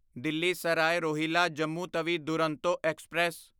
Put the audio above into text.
Delhi Sarai Rohilla Jammu Tawi Duronto express